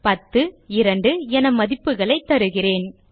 10 மற்றும் 2 என மதிப்புகளைத் தருகிறேன்